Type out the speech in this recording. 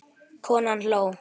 Konan hló.